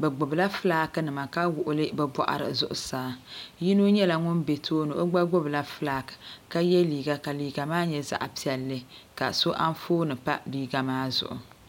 bɛ gbubi la fulaaki nima ka wuɣi li bɛ bɔɣiri zuɣusaa yino nyɛla ŋun be tooni o gba gbubi la fulaak ka ye liiga ka liiga maa nyɛ zaɣ' piɛlli ka so anfooni pa liiga maa zuɣu.